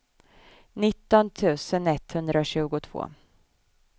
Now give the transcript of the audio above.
nitton tusen etthundratjugotvå